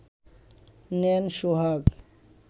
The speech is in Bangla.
নেন সোহাগ